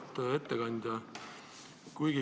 Auväärt ettekandja!